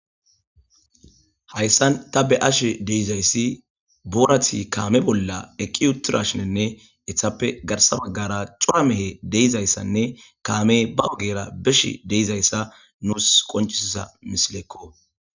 Hayssan ta be ashe deizayssi boorati kaame bolla eqqi uttura shinenne ethappe garsa baggara cua mehe deizayssanne kaame ba ogera besh deizayssa nuus qoncisisa misileekko.